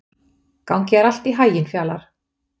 Gangi þér allt í haginn, Fjalarr.